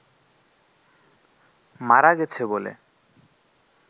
মারা গেছে বলে